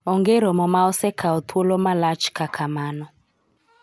onge romo ma osekawo thuolo malach kaka mano